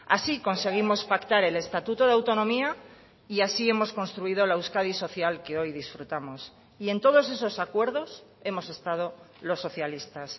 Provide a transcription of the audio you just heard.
así conseguimos pactar el estatuto de autonomía y así hemos construido la euskadi social que hoy disfrutamos y en todos esos acuerdos hemos estado los socialistas